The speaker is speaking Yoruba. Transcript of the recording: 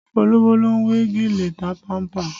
Olówó ló ń we gèlè tapanpa